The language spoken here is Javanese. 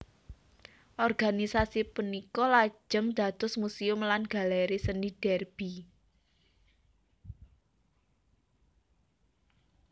Organisasi punika lajeng dados Museum lan Galeri Seni Derby